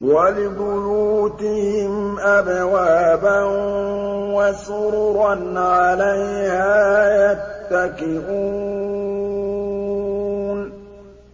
وَلِبُيُوتِهِمْ أَبْوَابًا وَسُرُرًا عَلَيْهَا يَتَّكِئُونَ